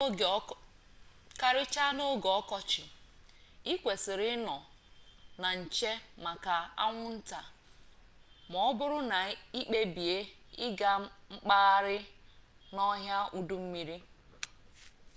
karịchaa n'oge ọkọchị ị kwesịrị ịnọ na nche maka anwụnta ma ọbụrụ na i kpebie ịga mkpagharị n'ọhịa udummiri